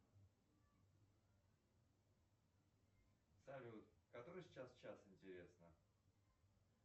салют который сейчас час интересно